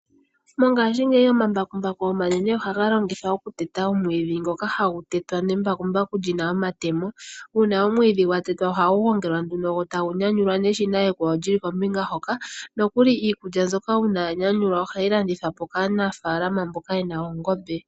Mongashingeyi omambakumbaku omanene ohaga longithwa oku teta omwiidhi ngoka hagu tetwa nembakumbaku lyina omatemo. Uuna omwiidhi gwa tetwa ohagu gongelwa nduno go tagu nyanyulwa neshina ekwawo lyili kombinga hoka, nokuli iikulya mbyoka uuna ya nyanyulwa ohayi landithwa po kaanafaalama mboka ye na oongombe.